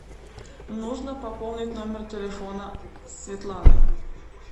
нужно пополнить номер телефона светланы